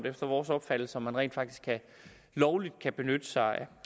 efter vores opfattelse tvivlsomt om man rent faktisk lovligt kan benytte sig af